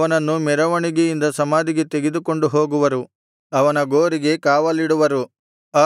ಅವನನ್ನು ಮೆರವಣಿಗೆಯಿಂದ ಸಮಾಧಿಗೆ ತೆಗೆದುಕೊಂಡು ಹೋಗುವರು ಅವನ ಗೋರಿಗೆ ಕಾವಲಿಡುವರು